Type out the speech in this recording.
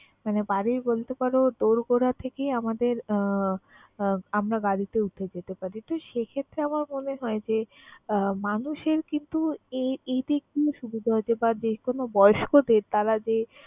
মানে বাড়ির বলতে পারো দোরগোড়া থেকে আমাদের আহ আমরা গাড়িতে উঠে যেতে পারি। তো সে ক্ষেত্রে আমার মনে হয় যে আহ মানুষের কিন্তু এ~ এদিক দিয়ে সুবিধা হয়েছে বা যে কোন বয়স্কদের তারা যে